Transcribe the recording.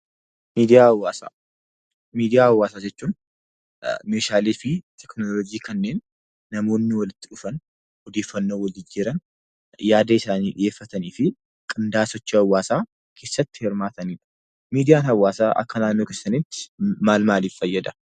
Miidiyaa hawaasaa. Miidiyaa hawaasaa jechuun meeshaalee fi teknooloji kanneen namoonni walitti dhufan, odeeffannoo wal jijjiiran, yaada isaanii dhiyeeffatanii fi qindeeffachuu hawaasaa keessatti hirmaatanidha. Miidiyaan hawaasaa akka naannoo keessaniitti maal maalif fayyada?